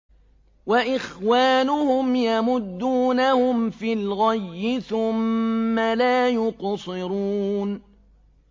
وَإِخْوَانُهُمْ يَمُدُّونَهُمْ فِي الْغَيِّ ثُمَّ لَا يُقْصِرُونَ